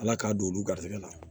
Ala k'a don olu garijɛgɛ la